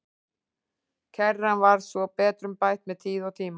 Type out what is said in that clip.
Kerran var svo betrumbætt með tíð og tíma.